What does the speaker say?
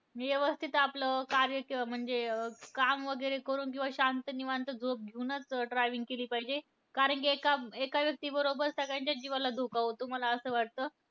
व्यवस्थित आपलं कार्य म्हणजे अं काम वगैरे करून किंवा शांत निवांत झोपूनचं driving केली पाहिजे. कारण कि एका एका व्यक्तीबरोबर सगळ्यांच्या जीवाला धोका होतो, मला असं वाटतं.